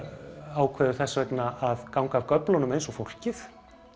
ákveður þess vegna að ganga af göflunum eins og fólkið